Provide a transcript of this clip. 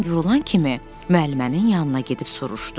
Zəng vurulan kimi müəllimənin yanına gedib soruşdu.